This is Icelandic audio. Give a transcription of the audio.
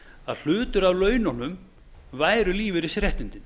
að hlutur af laununum væru lífeyrisréttindi